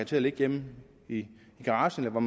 til at ligge hjemme i garagen eller hvor